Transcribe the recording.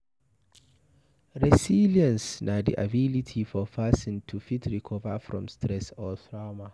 Resilience na di ability for person to fit recover from stress or trauma